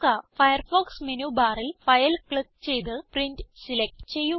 Firefox menu ബാറിൽ file click ചെയ്ത് print select ചെയ്യുക